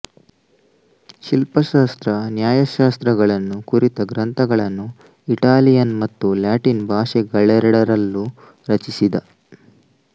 ಶಿಲ್ಪಶಾಸ್ತ್ರ ನ್ಯಾಯಶಾಸ್ತ್ರಗಳನ್ನು ಕುರಿತ ಗ್ರಂಥಗಳನ್ನು ಇಟಾಲಿಯನ್ ಮತ್ತು ಲ್ಯಾಟಿನ್ ಭಾಷೆಗಳೆರಡರಲ್ಲೂ ರಚಿಸಿದ